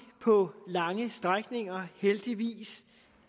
på lange stræk heldigvis